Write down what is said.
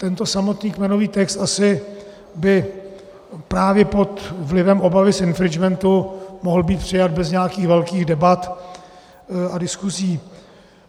Tento samotný kmenový text by asi právě pod vlivem obavy z infringementu mohl být přijat bez nějakých velkých debat a diskusí.